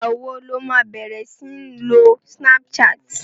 Ìgbà wo lo má bẹ̀rẹ̀ sí ń lo snapchat?